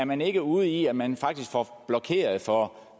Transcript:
man ikke er ude i at man faktisk får blokeret for